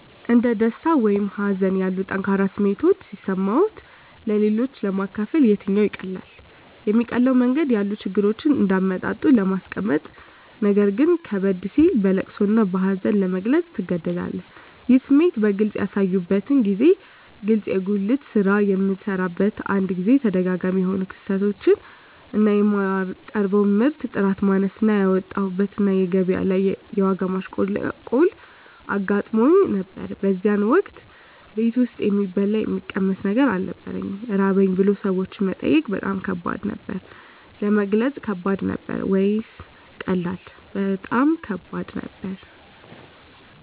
እንደ ደስታ ወይም ሀዘን ያሉ ጠንካራ ስሜቶች ሲሰማዎት-ለሌሎች ለማካፈል የትኛው ይቀላል? የሚቀለው መንገድ ያሉ ችግሮችን እንደ አመጣጡ ለማስቀመጥነገር ግን ከበድ ሲል በለቅሶ እና በሀዘን ለመግለፅ ትገደዳለህ ይህን ስሜት በግልጽ ያሳዩበትን ጊዜ ግለጹ የጉልት ስራ በምሰራበት አንድ ጊዜ ተደጋጋሚ የሆኑ ክስረቶች እና የማቀርበው ምርት ጥራት ማነስ እና ያወጣሁበት እና ገቢያ ላይ የዋጋ ማሽቆልቆል አጋጥሞኝ ነበር በዚያን ወቅት ቤት ውስጥ የሚበላ የሚቀመስ ነገር አልነበረኝም ራበኝ ብሎ ሰዎችን መጠየቅ በጣም ከባድ ነበር። ለመግለጽ ከባድ ነበር ወይስ ቀላል? በጣም ከባድ ነበር